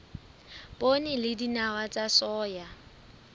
poone le dinawa tsa soya